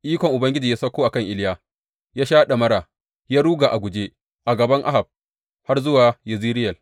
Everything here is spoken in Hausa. Ikon Ubangiji ya sauko a kan Iliya, ya sha ɗamara, ya ruga a guje a gaban Ahab har zuwa Yezireyel.